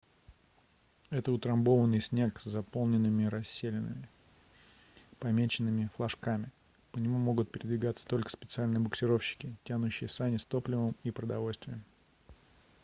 это утрамбованный снег с заполненными расселинами помеченными флажками по нему могут передвигаться только специальные буксировщики тянущие сани с топливом и продовольствием